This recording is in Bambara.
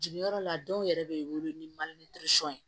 Jigi yɔrɔ la dɔw yɛrɛ bɛ wolo ni